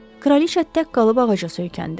Kraliça tək qalıb ağaca söykəndi.